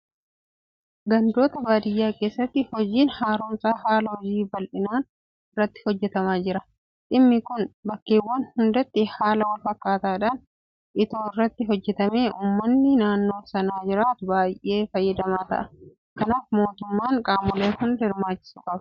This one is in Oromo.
Gandoota baadiyyaa keessatti hojiin haaromsa haala hojii bal'inaan irratti hojjetamaa jira. Dhimmi kun bakkeewwan hundatti haala walfakkaataadhaan itoo irratti hojjetamee uummanni naannoo sana jiraatu baay'ee fayyadamaa ta'a. Kanaaf mootummaan qaamolee hunda hirmaachisuu qaba.